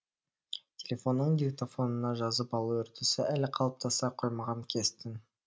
телефонның диктофонына жазып алу үрдісі әлі қалыптаса қоймаған кез тін